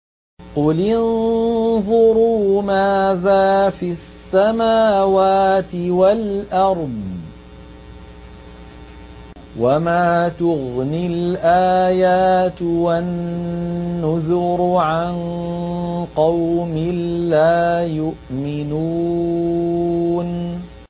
قُلِ انظُرُوا مَاذَا فِي السَّمَاوَاتِ وَالْأَرْضِ ۚ وَمَا تُغْنِي الْآيَاتُ وَالنُّذُرُ عَن قَوْمٍ لَّا يُؤْمِنُونَ